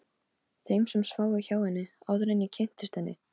Gautviður, hvernig er veðurspáin?